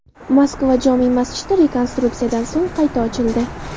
Moskva jome’ masjidi rekonstruksiyadan so‘ng qayta ochildi.